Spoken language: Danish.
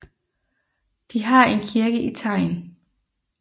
De har en kirke i Tejn